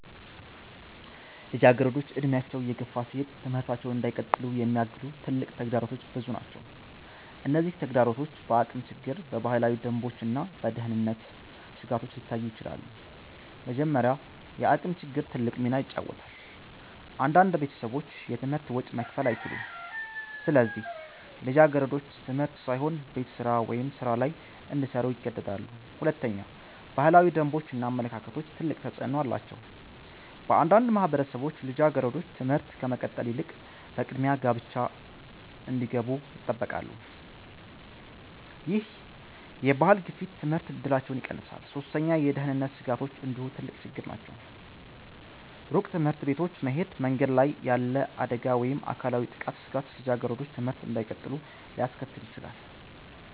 ልጃገረዶች እድሜያቸው እየገፋ ሲሄድ ትምህርታቸውን እንዳይቀጥሉ የሚያግዱ ትልቅ ተግዳሮቶች ብዙ ናቸው። እነዚህ ተግዳሮቶች በአቅም ችግር፣ በባህላዊ ደንቦች እና በደህንነት ስጋቶች ሊታዩ ይችላሉ። መጀመሪያ፣ የአቅም ችግር ትልቅ ሚና ይጫወታል። አንዳንድ ቤተሰቦች የትምህርት ወጪ መክፈል አይችሉም፣ ስለዚህ ልጃገረዶች ትምህርት ሳይሆን ቤት ስራ ወይም ሥራ ላይ እንዲሰሩ ይገደዳሉ። ሁለተኛ፣ ባህላዊ ደንቦች እና አመለካከቶች ትልቅ ተፅዕኖ አላቸው። በአንዳንድ ማህበረሰቦች ልጃገረዶች ትምህርት ከመቀጠል ይልቅ በቅድሚያ ጋብቻ እንዲገቡ ይጠበቃሉ። ይህ የባህል ግፊት የትምህርት እድላቸውን ይቀንሳል። ሶስተኛ፣ የደህንነት ስጋቶች እንዲሁ ትልቅ ችግር ናቸው። ሩቅ ትምህርት ቤቶች መሄድ፣ መንገድ ላይ ያለ አደጋ ወይም የአካላዊ ጥቃት ስጋት ልጃገረዶች ትምህርት እንዳይቀጥሉ ሊያስከትል ይችላል።